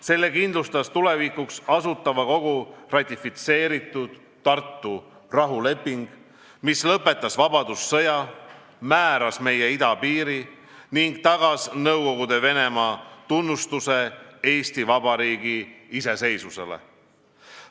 Selle kindlustas tulevikuks Asutava Kogu ratifitseeritud Tartu rahuleping, mis lõpetas vabadussõja, määras meie idapiiri ning tagas Nõukogude Venemaa tunnustuse Eesti Vabariigi iseseisvusele.